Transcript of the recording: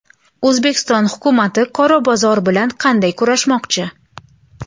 O‘zbekiston hukumati qora bozor bilan qanday kurashmoqchi?.